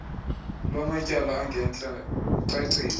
lwamatyala angentla kucacile